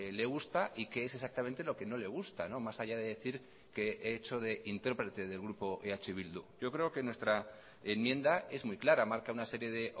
le gusta y qué es exactamente lo que no le gusta más allá de decir que he hecho de intérprete del grupo eh bildu yo creo que nuestra enmienda es muy clara marca una serie de